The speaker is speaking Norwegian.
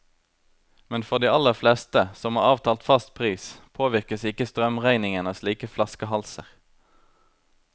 Men for de aller fleste, som har avtalt fast pris, påvirkes ikke strømregningen av slike flaskehalser.